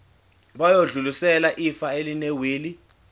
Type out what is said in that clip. bayodlulisela ifa elinewili